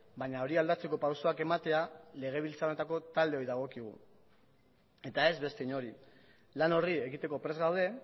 baina hori aldatzeko pausuak ematea legebiltzar honetako taldeoi dagokigu eta ez beste inori lan horri ekiteko prest gaude